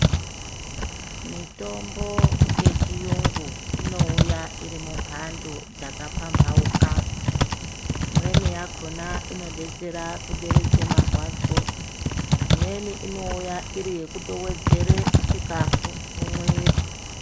Mitombo yechiyungu inouya iri mumhando dzakapamhauka. Imweni yakhona inodetsere kupodza marwadzo. Imweni inouya itori yekutowedzera chikhafu mumwiri.